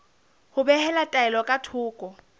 ho behela taelo ka thoko